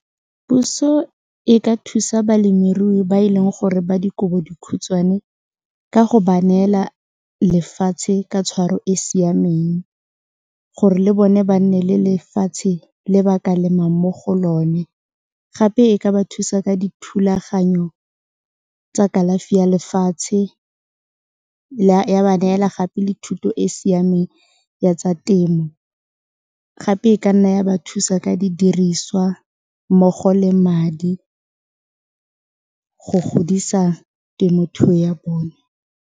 Puso e ka thusa balemirui ba e leng gore ba dikobodikhutshwane ka go ba neela lefatshe ka tshwaro e siameng gore le bone ba nne le lefatshe le ba ka lemang mo go lone gape e ka ba thusa ka dithulaganyo tsa kalafi ya lefatshe ya ba neela gape le thuto e e siameng ya tsa temo gape e ka nna ya ba thusa ka didiriswa mmogo le madi go godisa temothuo ya bone.